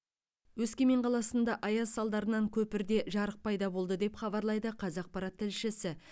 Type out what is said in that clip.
өскемен қаласында аяз салдарынан көпірде жарық пайда болды деп хабарлайды қазақпарат тілшісі